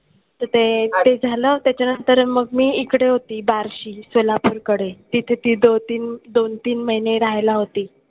तर ते झालं त्याच्यानंतर मग मी इकडे होती बार्शी सोलापूरकडे. तिथे ती दोन तीन दोन तीन महिने राहायला होती.